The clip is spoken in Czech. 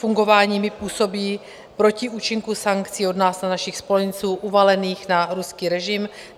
Fungování MIB působí proti účinku sankcí od nás a našich spojenců uvalených na ruský režim.